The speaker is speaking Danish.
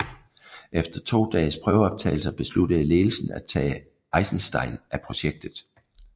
Efter to dages prøveoptagelser besluttede ledelsen af tage Eisenstein af projektet